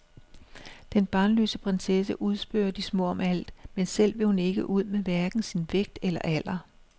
Den barnløse prinsesse udspørger de små om alt, men selv vil hun ikke ud med hverken sin vægt eller alder.